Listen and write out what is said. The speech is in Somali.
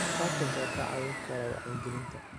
Patents ayaa kaa caawin kara wacyigelinta.